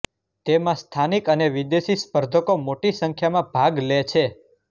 તેમાં સ્થાનિક અને વિદેશી સ્પર્ધકો મોટી સંખ્યામાં ભાગ લે છે